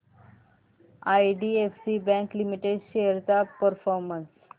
IDFC bank limited shares चा performance